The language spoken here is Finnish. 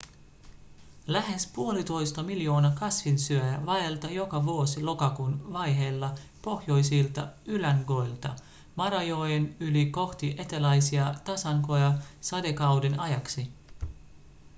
lähes 1,5 miljoonaa kasvinsyöjää vaeltaa joka vuosi lokakuun vaiheilla pohjoisilta ylängöiltä marajoen yli ‎kohti eteläisiä tasankoja sadekauden ajaksi.‎